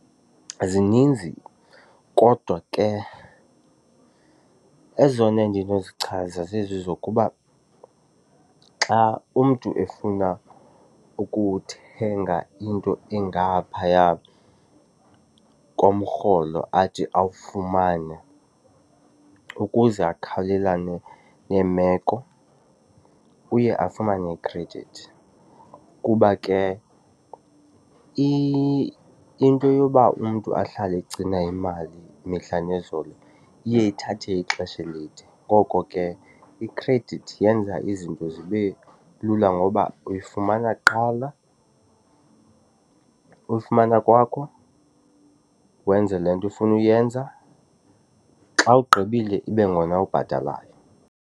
Zininzi kodwa ke ezona endinozichasa zezi zokuba xa umntu efuna ukuthenga into engaphaya komrholo athi awufumane, ukuze akhawulelane neemeko uye afumane ikhredithi. Kuba ke into yoba umntu ahlale egcina imali mihla nezolo iye ithathe ixesha elide. Ngoko ke ikhredithi yenza izinto zibe lula ngoba uyifumana kuqala, uyifumana kwakho wenze le nto ufuna uyenza, xa ugqibile ibe ngona ubhatalayo.